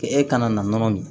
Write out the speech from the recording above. E kana na nɔnɔ min